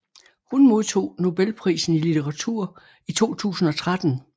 Hun modtog Nobelprisen i litteratur i 2013